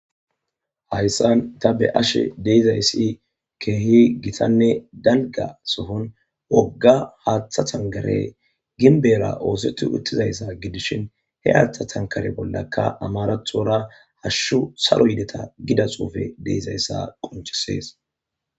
Hayssan ta be ashe deizayssi keehi gitanne dalga sohon wogga haaththa thankare ginbera oosetu uttizayssa gidishin he haaththa thankare bollakka amarathora hashshu salo yideta gida xuufe deizayssa qonchisees.